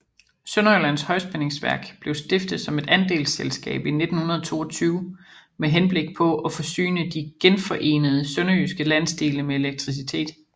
Sønderjyllands Højspændingsværk blev stiftet som et andelsselskab i 1922 med henblik på at forsyne de genforenede sønderjyske landsdele med elektricitet